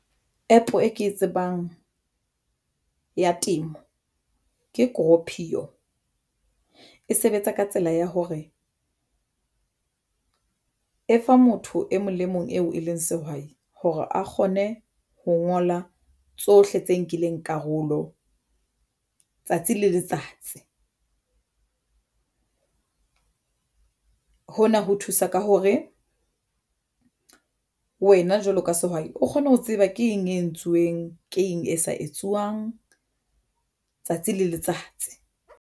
App e ke e tsebang ya temo ke cropio e sebetsa ka tsela ya hore e fa motho e mong le mong eo e leng sehwai hore a kgone ho ngola tsohle tse nkileng karolo tsatsi le letsatsi hona ho thusa ka hore wena jwalo ka sehwai o kgone ho tseba ke eng entsuweng, ke eng e sa etsuwang tsatsi le letsatsi.